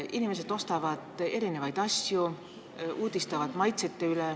Inimesed ostavad erinevaid asju, nad uudistavad uusi maitseid.